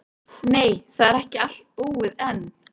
Nei, það er ekki allt búið enn.